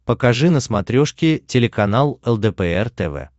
покажи на смотрешке телеканал лдпр тв